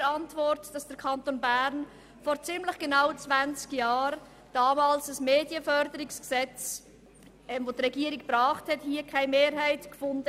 In der Antwort steht, dass die Regierung hier im Kanton Bern vor ziemlich genau 20 Jahren ein Medienförderungsgesetzt vorgelegt hat, das keine Mehrheit fand.